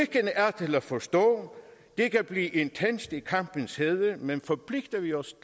er til at forstå det kan blive intenst i kampens hede men forpligter vi os